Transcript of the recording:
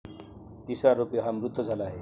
तिसरा आरोपी हा मृत झाला आहे.